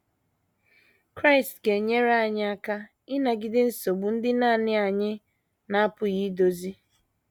Kraịst ga - enyere anyị aka ịnagide nsogbu ndị nanị anyị na - apụghị idozi